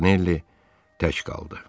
Montanelli tək qaldı.